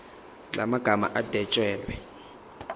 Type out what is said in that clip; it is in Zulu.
la magama adwetshelwe